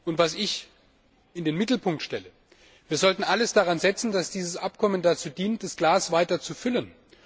Und was ich in den Mittelpunkt stelle Wir sollten alles daran setzen, dass dieses Abkommen dazu dient, das Glas weiter zu füllen.